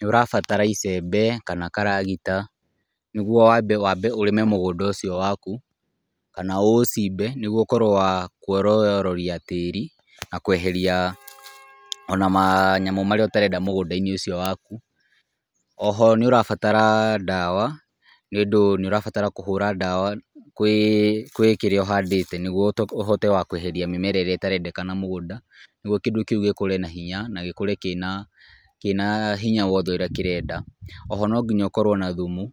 Nĩ ũrabatara icembe kana karagita nĩgwo wambe ũrĩme mũgũnda ũcio waku , kana ũũcimbe nĩgwo ũkorwo wa kwororoiya tĩri ,na kweheria ona manyamũ marĩa ũtarenda mũgũnda-inĩ ũcio waku, oho nĩ ũrabatara ndawa nĩ ũndũ nĩ ũrabatara kũhũra ndawa gwĩ kĩrĩa ũhandĩte nĩgwo ũhote wa kweheria mĩmera ĩrĩa ĩtarendekana mũgũnda, nĩgwo kĩndũ kĩu gĩkũre na hinya na gĩkũre kĩna hinya ũrĩa wothe kĩrenda , oho no nginya ũkorwo na thumu ,